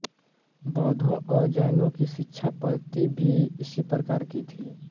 बौद्धों और जैनों की शिक्षापद्धति भी इसी प्रकार की थी